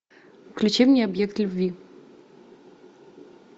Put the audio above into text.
включи мне объект любви